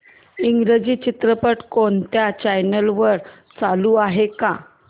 इंग्रजी चित्रपट कोणत्या चॅनल वर चालू आहे का